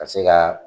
Ka se ka